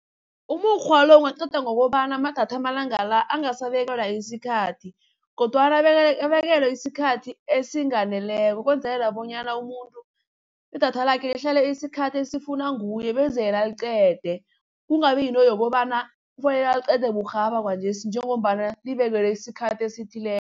Umukghwa lo ungaqedwa ngokobana amadatha amalanga la angasabekelwa isikhathi kodwana abekelwe isikhathi esinganeleko, ukwenzelela bonyana umuntu idatha lakhe lihlala isikhathi esifunwa nguye beze yena aliqede. Kungabi yinto yokobana kufanele aliqede burhaba kwanjesi njengombana libekelwe isikhathi esithileko.